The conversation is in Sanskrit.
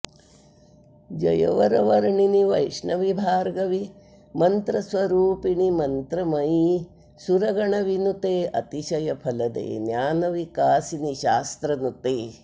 जय वरवर्णिनि वैष्णवि भार्गवि मन्त्रस्वरूपिणि मन्त्रमयि सुरगणविनुते अतिशयफलदे ज्ञानविकासिनि शास्त्रनुते